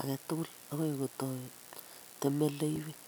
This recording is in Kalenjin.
age tugul agoi kotoi temeleiywek.